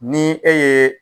Ni e yee